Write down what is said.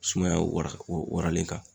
Sumaya wara waralen kan